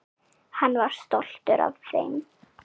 Hann var stoltur af þeim.